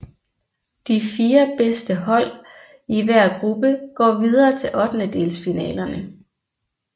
De fire bedste hold i hver gruppe går videre til ottedendelsfinalerne